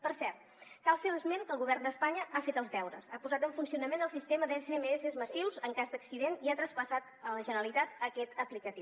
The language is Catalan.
per cert cal fer esment que el govern d’espanya ha fet els deures ha posat en funcionament el sistema d’smss massius en cas d’accident i ha traspassat a la generalitat aquesta aplicació